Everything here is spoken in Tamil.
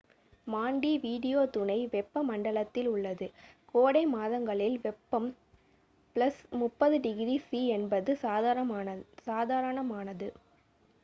மான்டி வீடியோ துணை வெப்ப மண்டலத்தில் உள்ளது கோடை மாதங்களில் வெப்பம் +30 டிகிரி c என்பது சாதாரணமானது